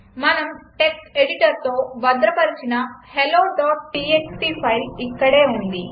మనం టెక్స్ట్ ఎడిటర్తో భద్రపరచిన helloటీఎక్స్టీ ఫైల్ ఇక్కడే ఉంది